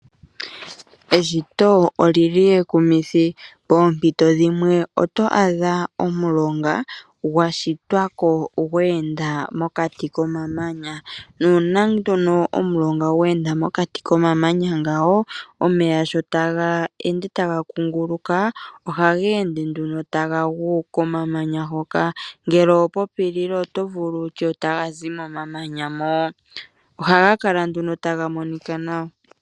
Eshito olili ekumithi poompito dhimwe oto adha omulonga gwashitwa ko gweenda mokati komamanya. Nuuna nduno omulonga gweenda mokati komamanya ngawo omeya sho taga ende taga kunguluka ohaga ende nduno taga gu komamanya hoka. Ngele oho popilile oto ningi wutye otaga zi momamanya mo. Ohaga kala nduno taga monika nawa.